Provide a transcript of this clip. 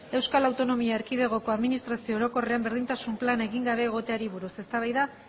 euskal autonomia erkidegoko administrazio orokorrean berdintasun plana egin gabe egoteari buruz eztabaida